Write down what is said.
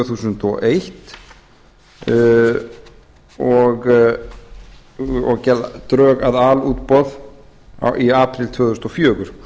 þúsund og eins og gerð drög að alútboði í apríl tvö þúsund og fjögur